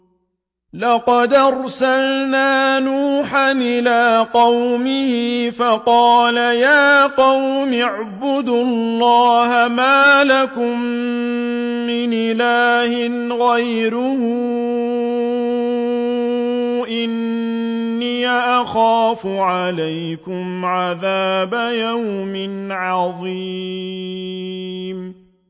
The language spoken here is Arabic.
لَقَدْ أَرْسَلْنَا نُوحًا إِلَىٰ قَوْمِهِ فَقَالَ يَا قَوْمِ اعْبُدُوا اللَّهَ مَا لَكُم مِّنْ إِلَٰهٍ غَيْرُهُ إِنِّي أَخَافُ عَلَيْكُمْ عَذَابَ يَوْمٍ عَظِيمٍ